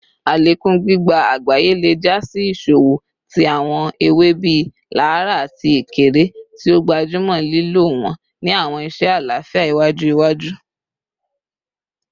Alekun gbigba agbaye le ja si iṣowo ti awọn ewe bii laraa ati ekere, ti o gbajumọ lilo wọn ni awọn iṣe alafia iwaju iwaju.